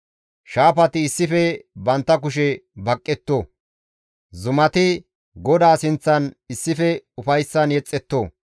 Shaafati issife bantta kushe baqqetto! zumati GODAA sinththan issife ufayssan yexxetto!